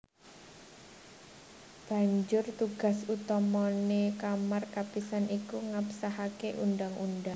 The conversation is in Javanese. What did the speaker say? Banjur tugas utamané Kamar Kapisan iki ngabsahaké undhang undhang